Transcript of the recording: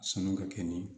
Sɔnni ka kɛ ni